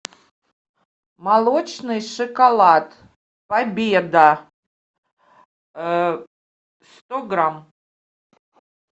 молочный шоколад победа сто грамм